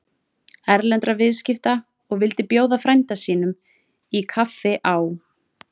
Erlendra viðskipta og vildi bjóða frænda sínum í kaffi á